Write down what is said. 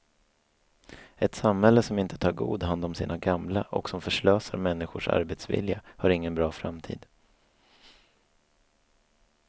Ett samhälle som inte tar god hand om sina gamla och som förslösar människors arbetsvilja har ingen bra framtid.